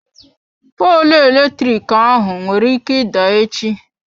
Poolụ eletrik ahụ nwere ike ịda echi.